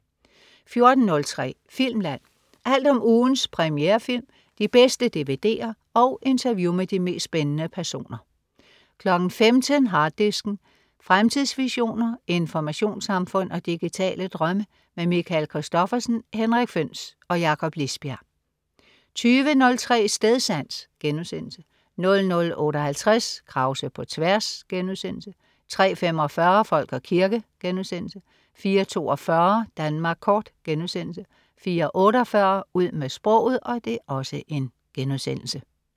14.03 Filmland. Alt om ugens premierefilm, de bedste dvd'er og interview med de mest spændende personer 15.00 Harddisken. Fremtidsvisioner, informationssamfund og digitale drømme. Michael Christophersen, Henrik Føhns og Jakob Lisbjerg 20.03 Stedsans* 00.58 Krause på tværs* 03.45 Folk og kirke* 04.42 Danmark kort* 04.48 Ud med sproget*